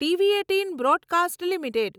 TV eighteen broadcast limited